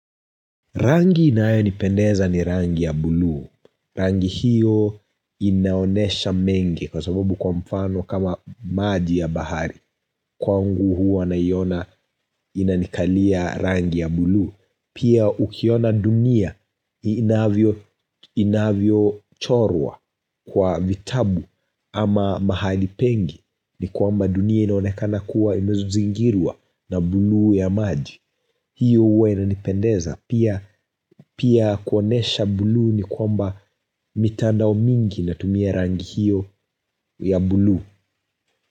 Rangi inayonipendeza ni rangi ya bluu. Rangi hiyo inaonyesha mengi kwa sababu kwa mfano kama maji ya bahari. Kwangu huwa naiona inanikalia rangi ya bluu. Pia ukiona dunia inavyochorwa kwa vitabu ama mahali pengi ni kwamba dunia inaonekana kuwa imezingirwa na bluu ya maji. Hiyo huwa inanipendeza. Pia kuonyesha bluu ni kwamba mitandao mingi inatumia rangi hiyo ya bluu.